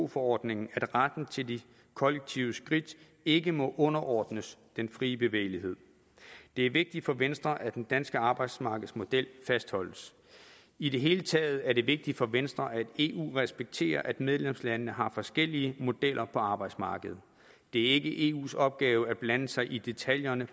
forordningen at retten til de kollektive skridt ikke må underordnes den frie bevægelighed det er vigtigt for venstre at den danske arbejdsmarkedsmodel fastholdes i det hele taget er det vigtigt for venstre at eu respekterer at medlemslandene har forskellige modeller for arbejdsmarkedet det er ikke eus opgave at blande sig i detaljerne